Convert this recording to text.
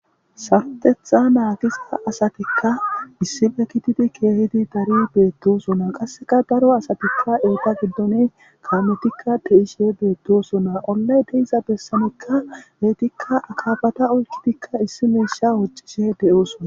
Sartetha naagisa asatikka issife kitidi keehidi dari beettosona qasseka daro asatikka eeta giddone kamotikka de7ishe beettosona ollay deiza bessanekka beetikka akaabata oykidikka issi meesha woccishe de7oosona.